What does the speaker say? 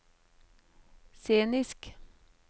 scenisk